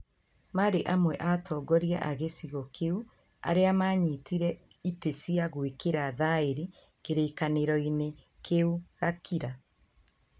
maarĩ amwe a atongoria a gĩcigo kĩu arĩa maanyitire itĩ cia gwĩkĩra thaĩri kĩrĩkanĩro-inĩ kĩu Gakira".